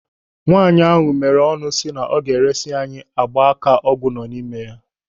Nwaanyị meere ọnụ si na ọ ga-eresi anyị gba aka ọgwụ nọ n'ime ya.